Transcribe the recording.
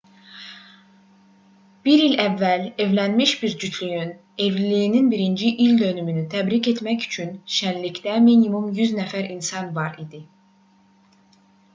bir il əvvəl evlənmiş bir cütlüyün evliliyinin birinci ildönümünü təbrik etmək üçün şənlikdə minimum 100 nəfər insan var idi